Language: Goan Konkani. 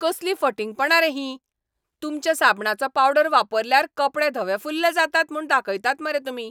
कसली फटिंगपणां रे हीं? तुमच्या साबणाचो पावडर वापरल्यार कपडे धवे फुल्ल जातात म्हूण दाखयतात मरे तुमी.